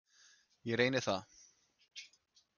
Ég reyni það.